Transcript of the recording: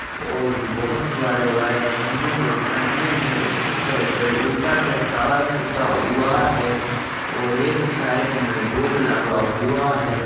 और बहोत बड़े बड़े खंबे दिख रहे है। उस पे से ऊपर से तार खिंचा हुआ है। और एक उस साइड में बोर्ड लगा हुआ है।